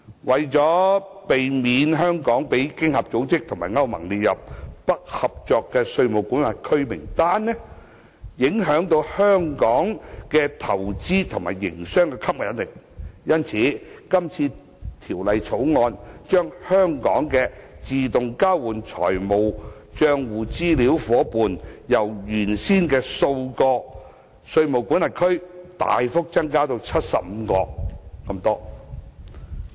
為免香港被經合組織及歐盟列入"不合作稅務管轄區"名單，影響香港的投資和營商吸引力，因此，《條例草案》把香港的自動交換資料夥伴，由原先的數個稅務管轄區大幅增加至75個稅務管轄區。